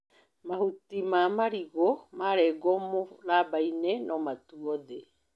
Mahuti ma marigũ marengwo mũrambainĩ no matwo thĩ.